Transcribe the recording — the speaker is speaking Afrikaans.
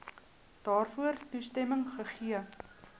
daarvoor toestemming gegee